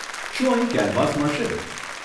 શું અહીં કેનવાસ મળશે?